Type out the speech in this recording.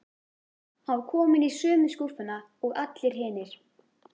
Hann var kominn í sömu skúffuna og allir hinir.